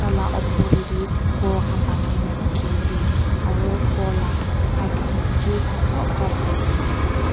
Taila opor dae tu ghor khan banaina dekhey ase aro ghor la side khan tree khan sob cover kurina ase.